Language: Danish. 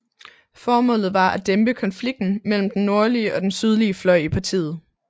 Formålet var at dæmpe konflikten mellem den nordlige og den sydlige fløj i partiet